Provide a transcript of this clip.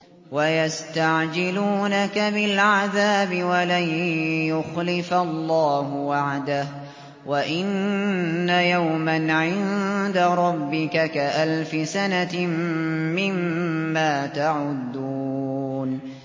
وَيَسْتَعْجِلُونَكَ بِالْعَذَابِ وَلَن يُخْلِفَ اللَّهُ وَعْدَهُ ۚ وَإِنَّ يَوْمًا عِندَ رَبِّكَ كَأَلْفِ سَنَةٍ مِّمَّا تَعُدُّونَ